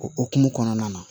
O hokumu kɔnɔna na